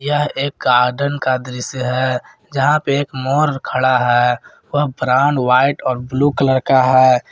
यह एक गार्डन का दृश्य है जहां पे एक मोर खड़ा है व प्राण व्हाइट और ब्लू कलर का है।